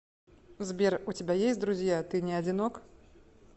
сбер у тебя есть друзья ты не одинок